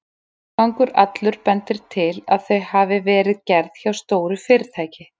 Frágangur allur bendir til, að þau hafi verið gerð hjá stóru fyrirtæki.